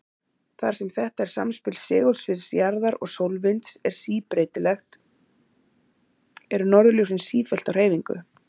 Þar sem þetta samspil segulsviðs jarðar og sólvinds er síbreytilegt, eru norðurljósin sífellt á hreyfingu.